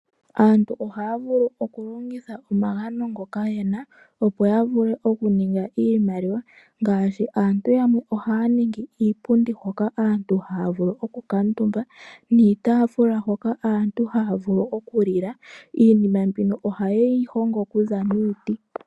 Aantu ohaya longitha omagano ngoka yena, opo yavule okuninga iimaliwa. Ngaashi, aantu yamwe ohaya ningi iipundi hono aantu haya vulu okukuuntumba, noshowo iitafula hoka aantu haya vulu okulila. Iinima mbino ohayeyi hongo miiti.